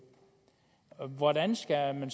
hvordan skal man